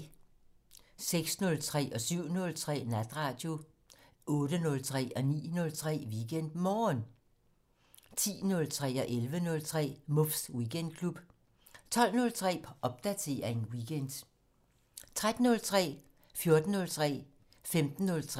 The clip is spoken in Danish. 06:03: Natradio 07:03: Natradio 08:03: WeekendMorgen 09:03: WeekendMorgen 10:03: Muffs Weekendklub 11:03: Muffs Weekendklub 12:03: Popdatering weekend 13:03: Liga 14:03: Liga 15:03: Liga